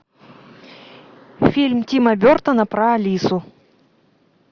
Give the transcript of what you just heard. фильм тима бертона про алису